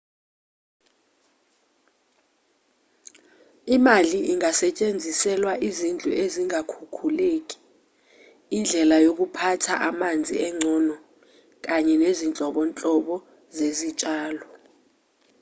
imali ingasetshenziselwa izidlu ezingakhukhuleki indlela yokuphatha amanzi engcono kanye nezinhlobonhlobo zezitshalo